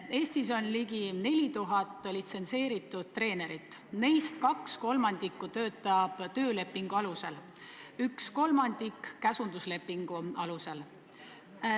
Eestis on ligi 4000 litsentseeritud treenerit, neist 2/3 töötab töölepingu alusel, 1/3 käsunduslepingu alusel.